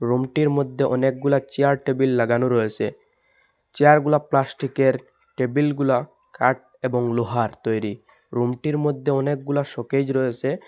রুমটির মধ্যে অনেকগুলা চেয়ার টেবিল লাগানো রয়েছে চেয়ারগুলা প্লাস্টিকের টেবিলগুলা কাঠ এবং লোহার তৈরি রুমটির মধ্যে অনেকগুলা শোকেজ রয়েছে।